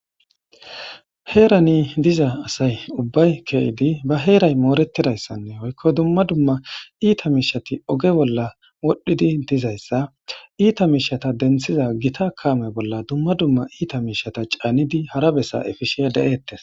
heerani diza asay ubbay ke7idi ba heeray moorettidayssanne hoykko dumma dumma iita miishati oge bolla wodhdhidi dizayssa iita miishata denthiza gita kaame bolla dumma dumma iita miishata caanidi hara bessa efishe da7eettes